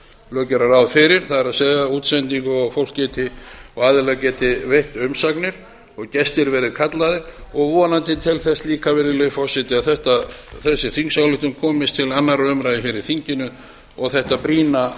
lög gera ráð fyrir það er útsendingu og aðilar geti veitt umsagnir og gestir verði kallaðir og vonandi til þess líka virðulegi forseti að þessi þingsályktun komist til annarrar umræðu hér í þinginu og þetta brýna